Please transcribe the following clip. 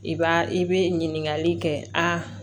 I b'a i bɛ ɲininkali kɛ a